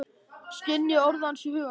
Skynji orð hans í huga mínum.